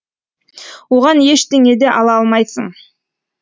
оған ештеңе да ала алмайсың